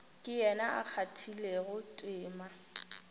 ke yena a kgathilego tema